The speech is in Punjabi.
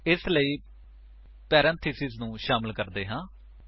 ਇਸ ਲਈ ਪਰੇੰਥੇਸਿਸ ਨੂੰ ਸ਼ਾਮਿਲ ਕਰਦੇ ਹਾਂ